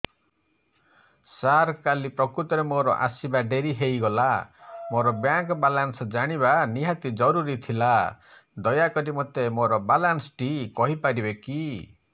ସାର କାଲି ପ୍ରକୃତରେ ମୋର ଆସିବା ଡେରି ହେଇଗଲା ମୋର ବ୍ୟାଙ୍କ ବାଲାନ୍ସ ଜାଣିବା ନିହାତି ଜରୁରୀ ଥିଲା ଦୟାକରି ମୋତେ ମୋର ବାଲାନ୍ସ ଟି କହିପାରିବେକି